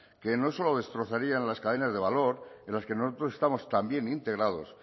que no solo destrozarían las cadenas de valor en los que nosotros estamos también integrados